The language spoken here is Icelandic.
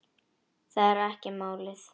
Það er ekki málið.